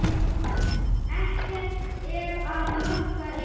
Ekkert er að marka ykkur.